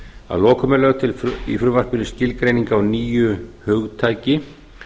að lokum er lögð til í frumvarpinu skilgreining á nýju hugtaki